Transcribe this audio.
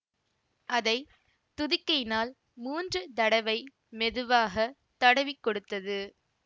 அதை துதிக்கையினால் மூன்று தடவை மெதுவாக தடவிக் கொடுத்தது